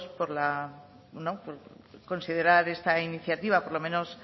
por la bueno por considerar esta iniciativa por lo menos